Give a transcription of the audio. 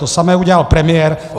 To samé udělal premiér.